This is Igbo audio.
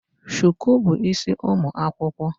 Shuku bu isi ụmụ akwụkwọ